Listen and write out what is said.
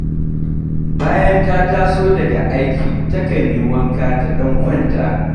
Bayan ta taso daga aiki takan yi wanka ta ɗan kwanta